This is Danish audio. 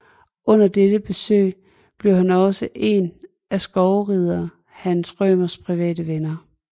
Under dette besøg blev han også en af skovrider Hans Rømers private venner